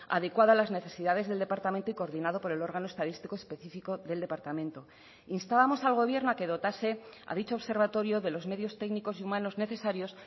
adecuada a las necesidades del departamento y coordinado por el órgano estadístico específico del departamento instábamos al gobierno a que dotase a dicho observatorio de los medios técnicos y humanos necesarios